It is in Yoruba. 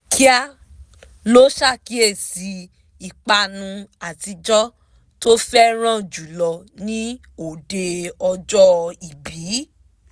kíá ló ṣàkíyèsí ìpanu àtijọ́ tó fẹ́ràn jùlọ ni òde ọjọ ibi naa